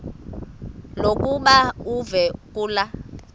lokuba uve kulaa